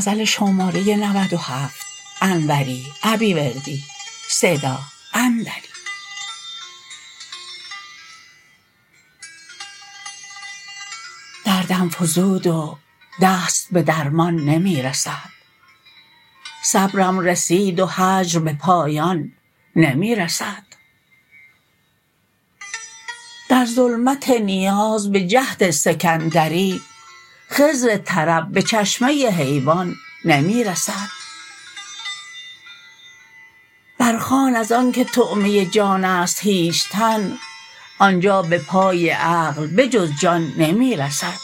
دردم فزود و دست به درمان نمی رسد صبرم رسید و هجر به پایان نمی رسد در ظلمت نیاز بجهد سکندری خضر طرب به چشمه حیوان نمی رسد برخوان از آنکه طعمه جانست هیچ تن آنجا به پای عقل به جز جان نمی رسد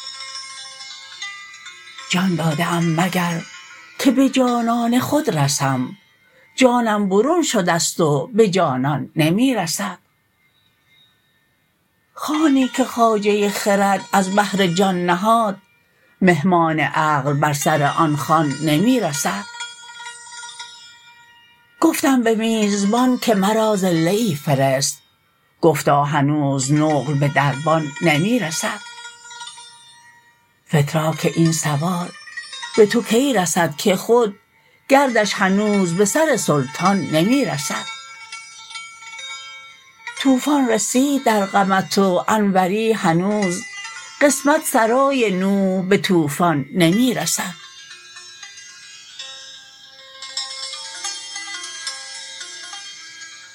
جان داده ام مگر که به جانان خود رسم جانم برون شدست و به جانان نمی رسد خوانی که خواجه خرد از بهر جان نهاد مهمان عقل بر سر آن خوان نمی رسد گفتم به میزبان که مرا زله ای فرست گفتا هنوز نقل به دربان نمی رسد فتراک این سوار به تو کی رسد که خود گردش هنوز بر سر سلطان نمی رسد طوفان رسید در غمت و انوری هنوز قسمت سرای نوح به طوفان نمی رسد